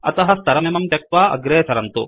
अतः स्तरमिमं त्यक्त्वा अग्रे सरन्तु